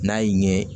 N'a y'i ɲɛ